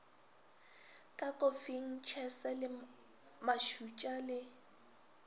ka kofing tšhese mašotša le